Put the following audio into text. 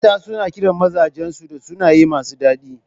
Mata suna kiran mazajan su da sunaye masu daɗi.